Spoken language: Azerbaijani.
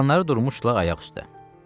Qalanları durmuşdular ayaq üstə.